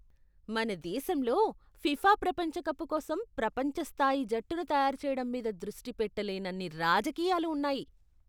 మన దేశంలో, ఫిఫా ప్రపంచ కప్ కోసం ప్రపంచ స్థాయి జట్టును తయారుచేయడం మీద దృష్టి పెట్టలేనన్ని రాజకీయాలు ఉన్నాయి.